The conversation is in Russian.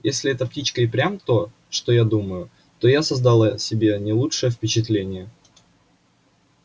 если эта птичка и впрямь то что я думаю то я создал о себе не лучшее впечатление